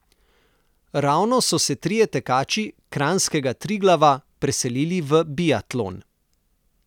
Ravno so se trije tekači kranjskega Triglava preselili v biatlon.